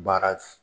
Baara